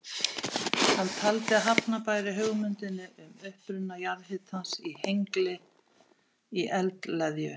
Hann taldi að hafna bæri hugmyndinni um uppruna jarðhitans í Hengli í eldleðju.